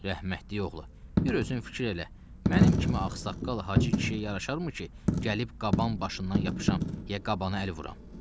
Rəhmətlik oğlu, bir özün fikir elə, mənim kimi ağsaqqal hacı kişiyə yaraşarmı ki, gəlib qaban başından yapışam ya qabanı əl vuram.